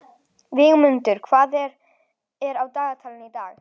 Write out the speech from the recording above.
Vígmundur, hvað er á dagatalinu í dag?